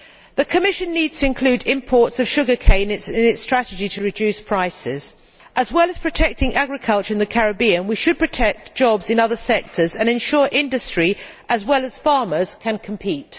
The Commission needs to include imports of sugar cane in its strategy to reduce prices. As well as protecting agriculture in the Caribbean, we should protect jobs in other sectors and ensure that industry, as well as farmers, can compete.